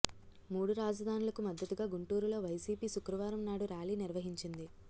మూడు రాజధానులకు మద్దతుగా గుంటూరులో వైసీపీ శుక్రవారం నాడు ర్యాలీ నిర్వహించింది